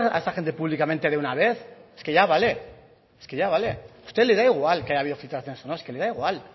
esa gente públicamente de una vez es que ya vale es que ya vale a usted le da igual que haya habido filtraciones o no es que le da igual